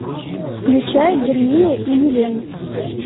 включай гермия и елена